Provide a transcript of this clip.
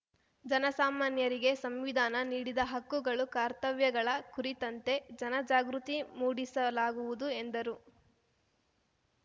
ಜನ ಸಾಮಾನ್ಯರಿಗೆ ಸಂವಿಧಾನ ನೀಡಿದ ಹಕ್ಕುಗಳು ಕರ್ತವ್ಯಗಳ ಕುರಿತಂತೆ ಜನ ಜಾಗೃತಿ ಮೂಡಿಸಲಾಗುವುದು ಎಂದರು